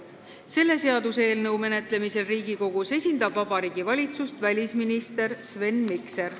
Selle seaduseelnõu menetlemisel Riigikogus esindab Vabariigi Valitsust välisminister Sven Mikser.